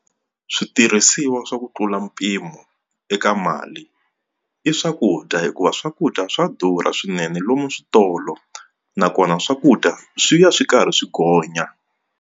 Switirhisiwa swa ku tlula mpimo eka mali i swakudya hikuva swakudya swa durha swinene lomu switolo nakona swakudya swi ya swi karhi swi gonya.